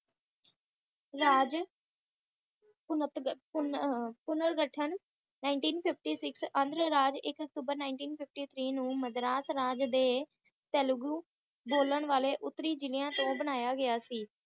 ਰਾਜ ਪੁਨਰ ਘਠਣ Nineteen fifty six ਨੂੰ ਅੰਧਰਾਜ ਇੱਕ ਅਕਤੂਬਰ Nineteen fifty three ਨੂੰ ਮਦਰਾਸ ਰਾਜ ਦੇ ਤੇਲਗੂ ਬੋਲਣ ਵਾਲੇ ਉਤੱਰੀ ਜਿਲਿਆਂ ਤੋਂ ਬਣਇਆ ਗਿਆ ਸੀ